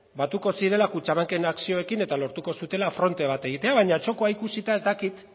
batuko zirela kutxabanken akzioekin eta lortuko zutela fronte bat egitea baina txokoa ikusita ez dakit